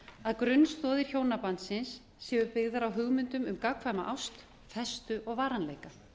að grunnstoðir hjónabandsins séu byggðar á hugmyndum um gagnkvæma ást festu og varanleika